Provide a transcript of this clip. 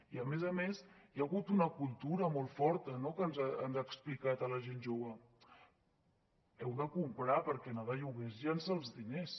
i a més a més hi ha hagut una cultura molt forta no que ens ha explicat a al gent jove heu de comprar perquè anar de lloguer és llençar els diners